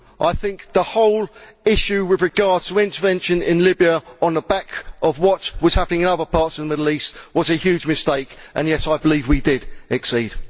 I think the whole issue with regard to intervention in Libya on the back of what was happening in other parts of the Middle East was a huge mistake, and yes, I believe we did exceed.